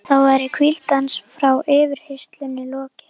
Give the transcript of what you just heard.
Þá væri hvíld hans frá yfirheyrslunum lokið.